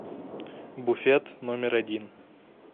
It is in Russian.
буфет номер один